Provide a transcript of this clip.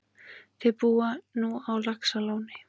Þau búa nú á Laxalóni.